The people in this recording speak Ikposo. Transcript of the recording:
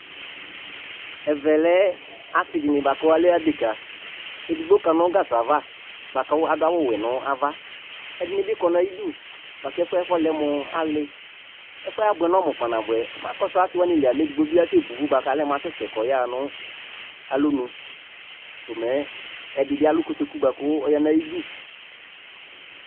Ɛvɛ lɛ asɩ dɩnɩ bʋa kʋ alɛ adekǝ Edigbo kana ɔlʋ nʋ gasɔ ava la kʋ adʋ awʋwɛ nʋ ava Ɛdɩnɩ bɩ kɔ nʋ ayidu la kʋ ɛfʋ yɛ fɔlɛ mʋ alɩ Ɛfʋ yɛ abʋɛ nʋ ɔmʋ kpanabʋɛ Mɛ akɔsʋ asɩ wanɩ li a, mɛ edigbo bɩ asɛbo ʋvʋ bʋa kʋ ɔlɛ mʋ asɛsɛ kʋ ɔyaɣa nʋ alɔnu komɛ, ɛdɩ bɩ alʋ kotoku bʋa kʋ ɔya nʋ ayidu